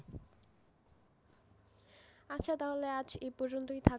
আচ্ছা তাহলে আজ এই পর্যন্তই থাক,